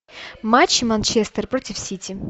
матч манчестер против сити